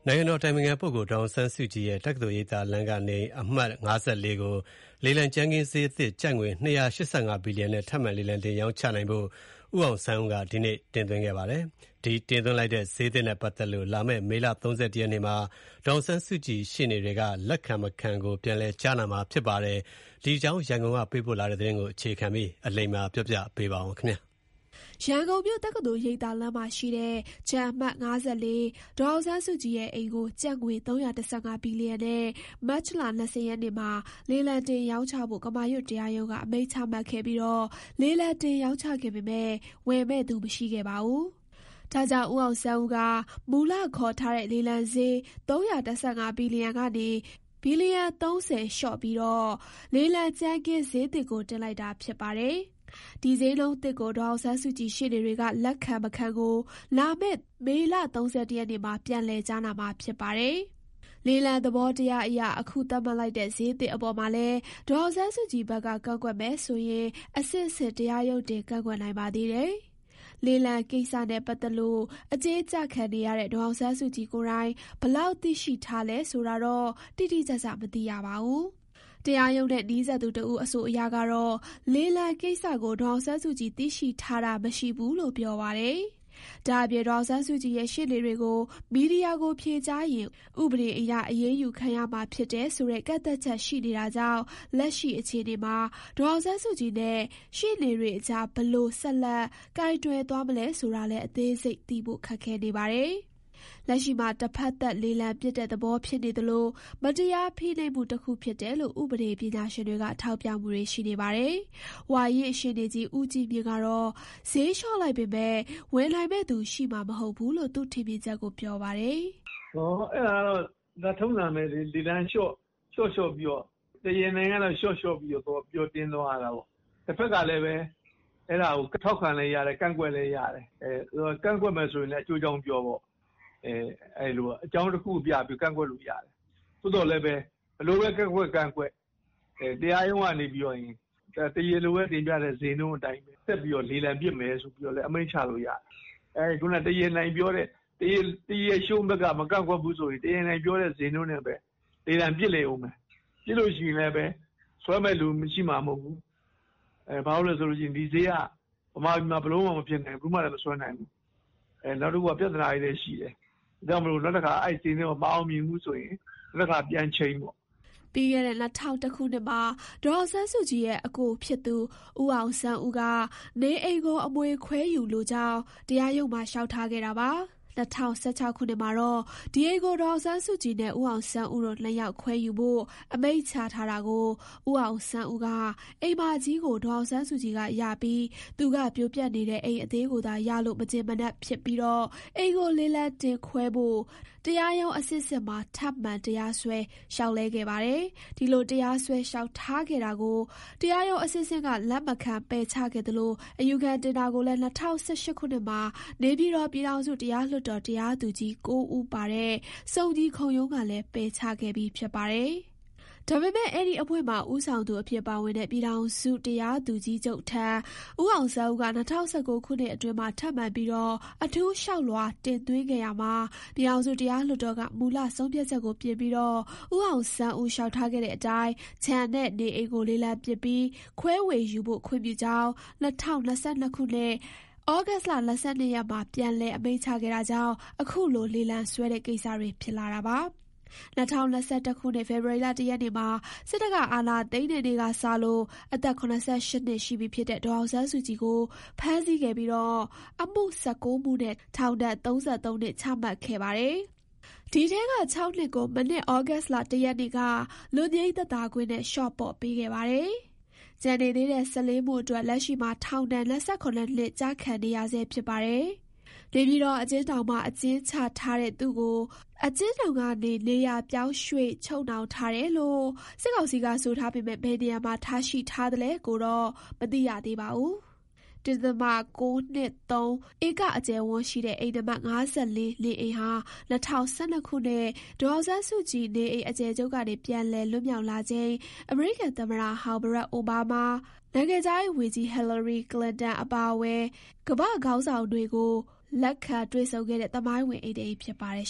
ိုင်ငံတော်အတိုင်ပင်ခံပုဂ္ဂိုလ် ဒေါ်အောင်ဆန်းစုကြည်ရဲ့ တက္ကသိုလ်ရိပ်သာလမ်းနေအိမ် အမှတ် ၅၄ ကို လေလံကြမ်းခင်းစျေးသစ် ကျပ်ငွေ ၂၈၅ ဘီလီယံနဲ့ထပ်မံ လေလံတင်ရောင်းချနိုင်ဖို့ ဦးအောင်ဆန်းဦးက ဒီကနေ့ တင်သွင်းခဲ့ပါတယ်။ ဒီတင်သွင်းလိုက်တဲ့ စျေးသစ်နဲ့ပတ်သတ်လို့ လာမယ့် မေ ၃၁ရက်နေ့မှာ ဒေါ်အောင်ဆန်းစုကြည် ရှေ့နေတွေက လက်ခံမခံကို ပြန်လည် ကြားနာမှာ ဖြစ်ပါတယ်။ ဒီအကြောင်း ရန်ကုန်ကပေးပို့တဲ့သတင်းကို အခြေခံပြီး အလိမ္မာက တင်ပြပေးပါမယ်။ တက္ကသိုလ်ရိပ်သာလမ်းမှာရှိတဲ့ ခြံအမှတ် ၅၄ ဒေါ်အောင်ဆန်းစုကြည်ရဲ့ အိမ်ကို ကျပ်ငွေ ၃၁၅ ဘီလီယံနဲ့ မတ်လ ၂၀ ရက်နေ့မှာ လေလံတင် ရောင်းချဖို့ ကမာရွတ်တရားရုံးက အမိန့် ချမှတ်ခဲ့ပြီး လေလံတင်ရောင်းချခဲ့ပေမယ့် ဝယ်မယ့်သူ မရှိခဲ့ပါဘူး။ ဒါကြောင့် ဦးအောင်ဆန်းဦးက မူလခေါ်ထားတဲ့လေလံစျေး ၃၁၅ ဘီလီယံကနေ ဘီလီယံ ၃၀ လျှော့ပြီး လေလံကြမ်းခင်းစျေးသစ်ကို တင်လိုက်တာ ဖြစ်ပါတယ်။ ဒီဈေးနှုန်းသစ်ကို ဒေါ်အောင်ဆန်းစုကြည်ရှေ့နေတွေက လက်ခံမခံကို လာမယ့် မေ ၃၁ ရက်နေ့မှာ ပြန်လည်ကြားနာမှာဖြစ်ပါတယ်။ လေလံသဘောတရားအရ အခုသတ်မှတ်လိုက်တဲ့ စျေးသစ်အပေါ်မှာလည်း ဒေါ်အောင်ဆန်းစုကြည်ဘက်က ကန့်ကွက်မယ်ဆိုရင် အဆင့်ဆင့် တရားရုံးတင် ကန့်ကွက်နိုင်ပါသေးတယ်။ လေလံကိစ္စနဲ့ ပတ်သတ်လို့ အကျဉ်းကျခံနေရတဲ့ ဒေါ်အောင်ဆန်းစုကြည်ကိုယ်တိုင် ဘယ်လောက်သိရှိထားလဲ ဆိုတာတော့ တိတိကျကျ မသိရပါဘူး။ တရားရုံးနဲ့နီးစပ်သူတဦး အဆိုအရကတော့ လေလံကိစ္စကို ဒေါ်အောင်ဆန်း စုကြည်သိရှိထား တာမရှိဘူးလို့ ပြောပါတယ်။ ဒါ့အပြင် ဒေါ်အောင်ဆန်းစုကြည်ရဲ့ ရှေ့နေတွေကို မီဒီယာကို ဖြေကြားရင် ဥပဒေအရ အရေးယူခံရမှာဖြစ်တယ်ဆိုတဲ့ ကန့်သတ်ချက် ရှိနေတာကြောင့် လက်ရှိ အခြေအနေမှာ ဒေါ်အောင်ဆန်းစုကြည်နဲ့ ရှေ့နေတွေအကြား ဘယ်လို ဆက်လက် ကိုင်တွယ်သွားမလဲဆိုတာလည်း အသေးစိတ်သိဖို့ ခက်ခဲနေပါတယ်။ လက်ရှိမှာ တဖက်သတ် လေလံပစ်တဲ့သဘောဖြစ်နေသလို မတရားဖိနှိပ်မှု တခုဖြစ်တယ်လို့ ဥပဒေပညာရှင်တွေက ထောက်ပြမှု တွေရှိနေပါတယ်။ ဝါရင့်ရှေ့နေကြီး ဦးကြီးမြင့်ကတော့ စျေးလျှော့လိုက်ပေမယ့် ဝယ်နိုင်မယ့်သူ ရှိမှာမဟုတ်ဘူးလို့ သူ့ထင်မြင်ချက်ကိုပြောပါတယ်။ "အဲဒါကတော့ထုံးစံဘဲလေ။ လေလံကတော့ ဒီအတိုင်းဘဲ လျှော့လျှော့ပြီး၊ တရားလိုက လျှော့လျှော့ပြီးသွင်းသွားရတာပေါ့။ တဖက်ကလည်း အဲဒါကိုထောက်ခံလဲရတယ်၊ ကန့်ကွက်လဲရတယ်။ ကန့်ကွက်မယ်ဆိုလဲ ဘာလို့ကန့်ကွက်လဲအကျိုးအကြောင်းပြောပေါ့။ အကြောင်းတခုခုပြကန့်ကွက်ပေါ့။ ဘယ်လိုဘဲပြောပြော ကန့်ကွက်လဲ တရားရုံးကနေပြီးတော့ တရားလိုတင်တဲ့အတိုင်းဘဲ ဆက်လေလံပစ်မယ်လို့ အမိန့်ချလို့ရတယ်။ နောက် တရားရှုံးဘက်က မကန့်ကွက်ရင် တရားနိုင်ဘက်က စျေးနှုန်းနဲ့ဘဲ လေလံပစ်လိမ့်ဦးမယ်။ ပစ်ရင်လဲဘဲ ဆွဲမယ့်သူရှိမှာမဟုတ်ဘူး။ ဒါကဗမာပြည်မှာ ဘယ်သူမှမဆွဲနိုင်ဘူး။ နောက်ပြဿနာတွေလည်းအများကြီးရှိတယ်။ အဲတော့ ဒီတခေါက်လည်းမအောင်မြင်ရင် နောက်တခါပြန်ချိန်ပေါ့။" ပြီးခဲ့တဲ့ ၂ဝဝ၁ ခုနှစ်မှာ ဒေါ်အောင်ဆန်းစုကြည်ရဲ့အစ်ကို ဦးအောင်ဆန်းဦးက နေအိမ်ကို အမွေခွဲဝေယူလိုကြောင်း တရားရုံးမှာ လျှောက် ထားခဲ့တာပါ။ ၂၀၁၆ ခုနှစ်မှာတော့ ဒီအိမ်ကို ဒေါ်အောင်ဆန်းစုကြည်နဲ့ ဦးအောင်ဆန်းဦးတို့ ၂ ယောက်ခွဲယူဖို့ အမိန့်ချထားတာကို ဦးအောင်ဆန်းဦးက အိမ်မကြီးကို ဒေါ်အောင်ဆန်းစုကြည်ကရပြီး သူက ပြိုပျက်နေတဲ့ အိမ်အသေးကိုသာရလို့ မကျေနပ်ဖြစ်ပြီး အိမ်ကိုလေလံ တင်ခွဲ ဖို့တရားရုံးအဆင့်ဆင့်မှာ ထပ်မံတရားစွဲ လျှောက်လဲခဲ့ပါတယ်။ ဒီလို တရားစွဲ လျှောက်ထားခဲ့တာကို တရားရုံး အဆင့်ဆင့်က လက်မခံ ပယ်ချခဲ့သလို အယူခံတင်တာကိုလည်း ၂ဝ၁၈ခုနှစ်မှာ နေပြည်တော် ပြည်ထောင်စုတရားလွှတ်တော် တရားသူကြီး ၉ ဦးပါ စုံညီခုံရုံးကလည်း ပယ်ချခဲ့ပြီးဖြစ်ပါတယ်။ ဒါပေမဲ့ အဲဒီအဖွဲ့မှာ ဦးဆောင်သူအဖြစ်ပါဝင်တဲ့ ပြည်ထောင်စုတရားသူကြီးချုပ်ထံ ဦးအောင်ဆန်းဦးက ၂ဝ၁၉ခုနှစ်အတွင်းမှာ ထပ်မံပြီး အထူးလျှောက်လွှာ တင်သွင်းခဲ့ရာမှာ ပြည်ထောင်စုတရားလွှတ်တော်က မူလ ဆုံးဖြတ်ချက်ကိုပြင်ပြီး ဦးအောင်ဆန်းဦး လျှောက်ထားခဲ့တဲ့ အတိုင်း ခြံနဲ့ နေအိမ်ကို လေလံပစ်ပြီး ခွဲဝေယူဖို့ ခွင့်ပြုကြောင်း ၂၀၂၂ ခုနှစ် သြဂုတ်လ ၂၂ ရက်မှာပြန်လည် အမိန့်ချခဲ့တာကြောင့်အခုလို လေလံဆွဲတဲ့ကိစ္စတွေ ဖြစ်လာတာပါ။ ၂၀၂၁ ခုနှစ် ဖေဖော်ဝါရီလ ၁ ရက်နေ့မှာ စစ်တပ်က အာဏာသိမ်းတဲ့နေ့ကစလို့ အသက် ၇၈ နှစ် ရှိပြီဖြစ်တဲ့ ဒေါ်အောင်ဆန်းစုကြည်ကို ဖမ်းဆီးခဲ့ပြီး အမှု ၁၉ မှုနဲ့ ထောင်ဒဏ် ၃၃ နှစ် ချမှတ်ခဲ့ပါတယ်။ ဒီအထဲက ၆ နှစ်ကို မနှစ် သြဂုတ်လ ၁ ရက်နေ့က လွတ်ငြိမ်းသက်သာခွင့် နဲ့ လျှော့ပေါ့ ပေးခဲ့ပါတယ်။ ကျန်နေသေးတဲ့ ၁၄ မှုအတွက် လက်ရှိမှာ ထောင်ဒဏ် ၂၇ နှစ် ကျခံနေရဆဲဖြစ်ပါတယ်။ နေပြည်တော်အကျဉ်းထောင်မှာ အကျဉ်းချထားတဲ့သူ့ကို အကျဉ်းထောင်ကနေနေရာပြောင်းရွှေ့ချုပ်နှောင်ထားတယ်လို့ စစ်ကောင်စီက ဆိုထားပေမယ့် ဘယ်နေရာ မှာ ထားရှိထားသလဲကို မသိရပါဘူး။ ၁.၉၂၃ ဧက အကျယ်အဝန်းရှိတဲ့ အိမ်နံပါတ် ၅၄နေအိမ်ဟာ ၂၀၁၂ ခုနှစ် ဒေါ်အောင်ဆန်းစုကြည် နေအိမ်အကျယ်ချုပ်ကနေ ပြန်လည်လွတ် မြောက်လာချိန် အမေရိကန်သမ္မတ Barak Obama ၊ နိုင်ငံခြားရေးဝန်ကြီး Hillary Clinton အပါအဝင် ကမ္ဘာ့ခေါင်းဆောင်တွေကို လက်ခံ တွေ့ဆုံခဲ့တဲ့ သမိုင်းဝင် အိမ်တအိမ်ဖြစ်ပါတယ်